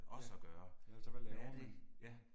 Ja, altså hvad laver man